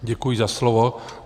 Děkuji za slovo.